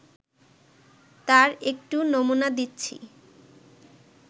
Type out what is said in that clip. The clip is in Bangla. তার একটু নমুনা দিচ্ছি